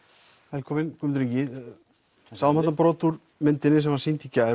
velkominn Guðmundur Ingi við sáum þarna brot úr myndinni sem var sýnd í gær